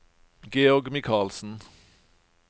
Georg Michaelsen